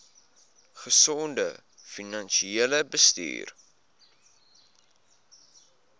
gesonde finansiële bestuur